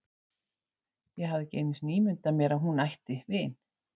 Ég hafði ekki einu sinni ímyndað mér að hún ætti vin.